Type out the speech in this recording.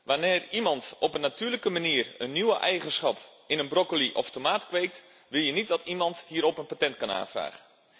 Wanneer iemand op een natuurlijke manier een nieuwe eigenschap in een broccoli of tomaat kweekt, wil je niet dat iemand hierop een patent kan aanvragen.